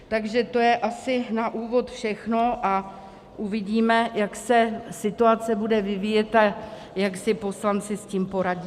Takže to je asi na úvod všechno a uvidíme, jak se situace bude vyvíjet a jak si poslanci s tím poradí.